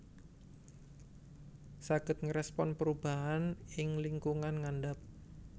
Saged ngerespon perubahan ing lingkungan ngandap